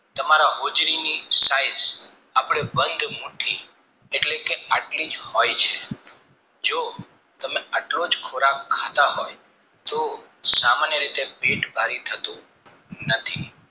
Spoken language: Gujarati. તમારા હોજરીની size આપણે બંદ મુઠ્ઠી એટલે કે આટલીજ હોય છે જો આટલો જ ખોરાક ખાતા હોય તો સામાન્ય રીતે પેટ ભરી થતું નથી